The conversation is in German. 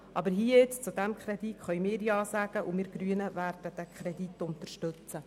Aber zum hier vorliegenden Kredit können wir Ja sagen, und wir Grüne werden ihn unterstützen.